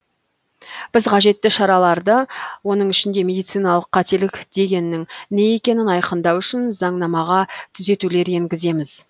біз қажетті шараларды оның ішінде медициналық қателік дегеннің не екенін айқындау үшін заңнамаға түзетулер енгіземіз